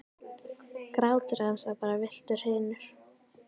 Grátur hans var bara villtar hrinur.